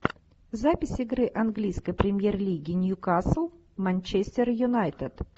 запись игры английской премьер лиги ньюкасл манчестер юнайтед